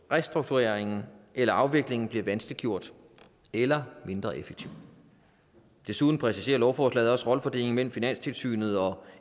restruktureringen eller afviklingen bliver vanskeliggjort eller mindre effektiv desuden præciserer lovforslaget også rollefordelingen mellem finanstilsynet og